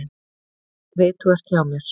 Ég veit þú ert hjá mér.